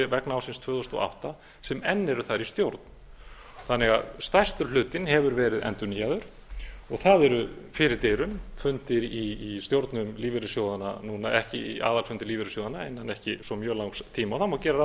vegna ársins tvö þúsund og átta sem enn eru þar í stjórn stærstur hlutinn hefur því verið endurnýjaður og það eru fyrir dyrum fundir í stjórnum lífeyrissjóðanna núna aðalfundir lífeyrissjóðanna innan ekki svo mjög langs tíma og þá má gera ráð